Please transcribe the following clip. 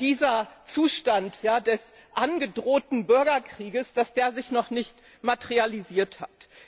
dieser Zustand des angedrohten Bürgerkriegs sich noch nicht materialisiert hat.